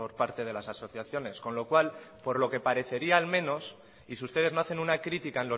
parte de las asociaciones con lo cual por lo que parecería al menos y si ustedes no hacen una critica